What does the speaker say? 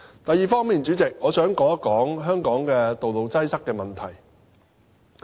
第二方面，主席，我想說一說香港道路擠塞問題。